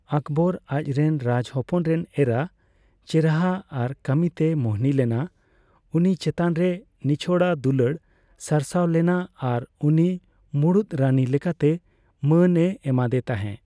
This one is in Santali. ᱟᱠᱵᱚᱨ ᱟᱪ ᱨᱮᱱ ᱨᱟᱡᱽ ᱦᱚᱯᱚᱱ ᱨᱮᱱ ᱮᱨᱟ ᱪᱮᱨᱦᱟ ᱟᱨ ᱠᱟᱹᱢᱤᱛᱮ ᱢᱩᱦᱱᱤ ᱞᱮᱱᱟ ; ᱩᱱᱤ ᱪᱮᱛᱟᱱᱨᱮ ᱱᱤᱪᱷᱚᱲᱟ ᱫᱩᱞᱟᱹᱲ ᱥᱟᱨᱥᱟᱣ ᱞᱮᱱᱟ ᱟᱨ ᱩᱱᱤ ᱢᱩᱲᱩᱛ ᱨᱟᱱᱤ ᱞᱮᱠᱟᱛᱮ ᱢᱟᱹᱱ ᱮ ᱮᱢᱟᱫᱮ ᱛᱟᱸᱦᱮ ᱾